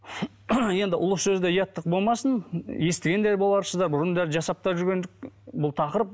енді ұлы сөзде ұяттық болмасын естіген де боларсыздар бұрын да жасап та жүрген бұл тақырып